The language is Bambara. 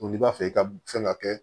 N'i b'a fɛ i ka fɛn ka kɛ